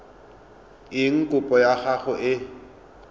eng kopo ya gago e